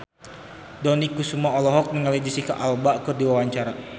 Dony Kesuma olohok ningali Jesicca Alba keur diwawancara